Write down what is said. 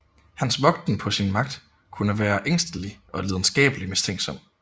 Hans vogten på sin magt kunne være ængstelig og lidenskabelig mistænksom